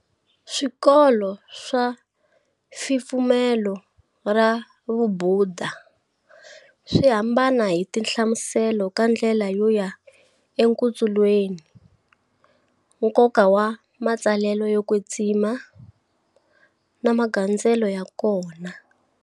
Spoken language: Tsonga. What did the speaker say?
Swikolo swa fipfumelo ra vubhuda, swi hambana hi tinhlamuselo ka ndlela yo ya enkutsulweni, nkoka wa matsalwa yo kwetsima, na magandzelele ya kona.